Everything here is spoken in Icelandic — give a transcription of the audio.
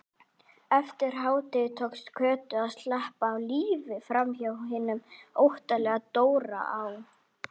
Eftir hádegi tókst Kötu að sleppa á lífi framhjá hinum óttalega Dóra á